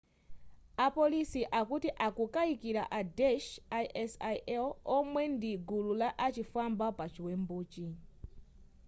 a polisi akuti akukaikila a daesh isil omwe ndi agulu la uchifwamba pa chiwembuchi